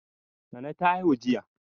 Nana ta haihu jiya.